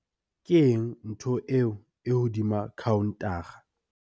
keng ntho eo e hodima khaontara?